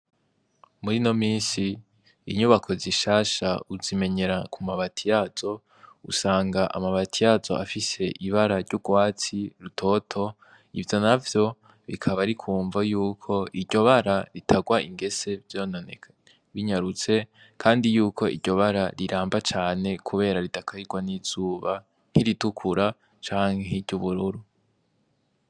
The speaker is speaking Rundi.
Muri no misi inyubako zishasha uzimenyera ku mabati yazo usanga amabati yazo afise ibara ry'urwatsi rutoto ivyo na vyo bikaba ari kumvo yuko iryo bara ritagwa ingese vyononekaye binyarutse, kandi yuko iryo bara riramba cane, kubera ridakarirwa n'izuba nkiritukura canke nkiry’ ubururu.